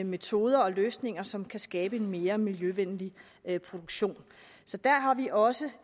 metoder og løsninger som kan skabe en mere miljøvenlig produktion så der har vi også